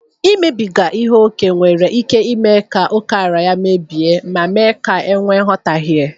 Imebiga ihe ókè nwere ike ime ka ókèala ya mebie ma mee ka e nwee nghọtahie.